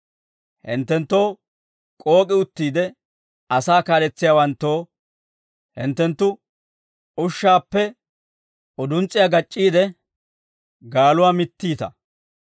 Hinttenttoo k'ook'i uttiide, asaa kaaletsiyaawanttoo, hinttenttu ushshaappe uduns's'iyaa gac'c'iide, gaaluwaa mittiita.